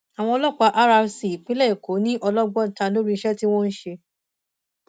àwọn ọlọpàá rrc ìpínlẹ èkó ni ọlọgbọ ta lórí iṣẹ tí wọn ń ṣe